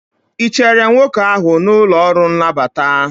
ị chere nwoke ahụ n'ụlọ ọrụ nnabata?